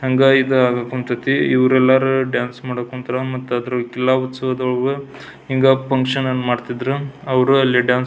ಹಂಗ ಇದ ಆಗಾಕ್ ಹೊಂಟೈತಿ ಇವ್ರೆಲ್ಲರೂ ಡಾನ್ಸ್ ಮಾಡೋಕ್ ಹೊಂತ್ರ ಮತ್ತ ಎಲ್ಲ ಉತ್ಸವ್ದ ಒಳಗು ಹಿಂಗ ಫುನ್ಕ್ಷನ್ ಅನ್ನ ಮಾಡ್ತಿದ್ರು ಅವ್ರು ಅಲ್ಲಿ ಡಾನ್ಸ್ --